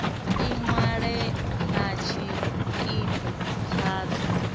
ni ṅwale na tshikimu tshadzo